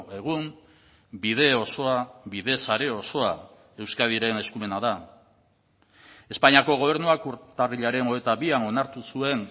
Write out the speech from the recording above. egun bide osoa bide sare osoa euskadiren eskumena da espainiako gobernuak urtarrilaren hogeita bian onartu zuen